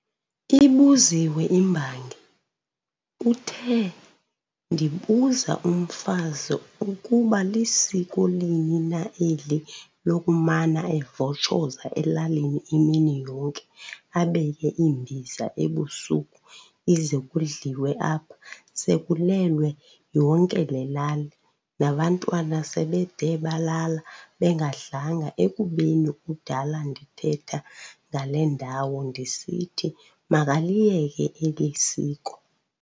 Ibuziwe imbangi, uthe- "Ndibuza umfazi ukuba lisiko lini na eli lokumana evotshoza elalini imini yonke, abeke imbiza ebusuku, ize kudliwe apha sekulelwe yonke le lali, nabantwana sebede balala bengadlanga, ekubeni kudala ndithetha ngale ndawo, ndisithi, "Makaliyeke eli siko."